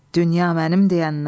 Dünya mənim deyənlər?